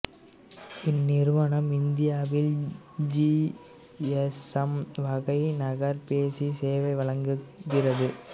இந்நிறுவனம் இந்தியாவில் G S M வகை நகர்பேசி சேவை வழங்குகிறது